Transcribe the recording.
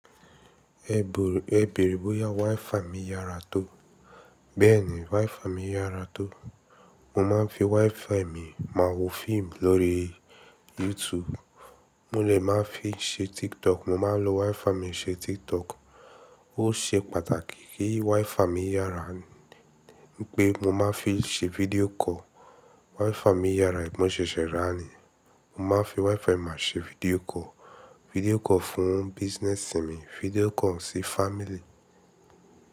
Ẹ̀ bẹ̀re bóyá WiFi mi yára tó. Bẹ́ẹ̀ ni WiFi mi yára tó. Mo máa ń fi WiFi mi máa wo fíìmù lórí YouTube. Mo lè máa fi ṣe TikTok. Mo máa ń lo WiFi mi ṣe TikTok. Ó ṣe pàtàkì kí WiFi mi yára pé mo máa fi ṣe video call WiFi mi yára mo sese rà ni. Mo máa ń fi WiFi mi máa ṣe fídíò kọ. Video call fún business mi, video call sí family.